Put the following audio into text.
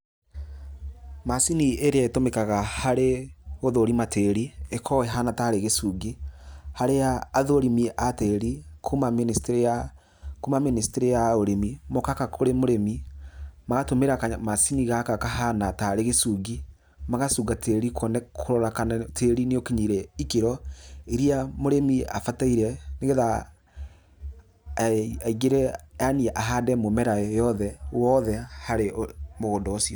Macini ĩrĩa ĩtũmĩkaga harĩ gũthũrima tĩri ĩkoragwo ĩhana tarĩ gĩcungi, harĩa athũrimi a tĩri kuma mĩnĩstĩrĩ ya, kuma mĩnĩstĩrĩ ya ũrĩmi mokaga kũrĩ mũrĩmi, magatũmĩra kamacini gaka kahana tarĩ gũcungi, magacunga tĩri kũrora kana tĩri nĩ ũkinyĩire ikĩro iria mũrĩmi abataire nĩgetha aingĩre yaani ahande mũmera wothe harĩ mũgũnda ũcio.